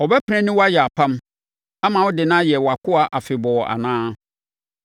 Ɔbɛpene ne wo ayɛ apam ama wode no ayɛ wʼakoa afebɔɔ anaa?